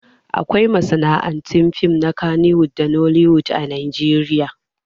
Akwai masana'antun fim na kannywood da nollywood a Najeriya